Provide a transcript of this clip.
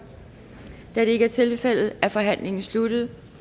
da det ikke er tilfældet er forhandlingen sluttet